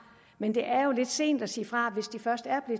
men det er jo lidt sent at sige fra hvis de først er